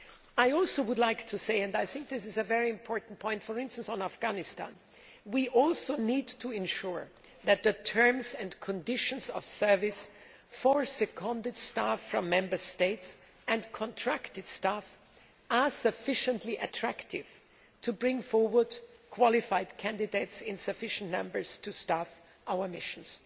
I would like to add and I think it is a very important point, for instance on Afghanistan that we also need to ensure that the terms and conditions of service for seconded staff from Member States and contracted staff are sufficiently attractive to bring forward qualified candidates in sufficient numbers to staff our missions.